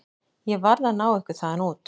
Ég varð að ná ykkur þaðan út.